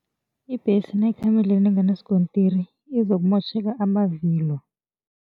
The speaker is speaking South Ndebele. Ibhesi nayikhamba endleleni enganaskontiri izokumotjheke amavilo.